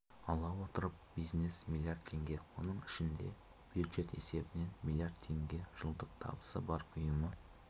ала отырып бизнес млрд теңге оның ішінде бюджет есебінен млрд теңге жылдық табысы бар ұйымды